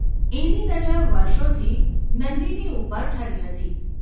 એની નજર વર્ષોથી નંદિની ઉપર ઠરી હતી.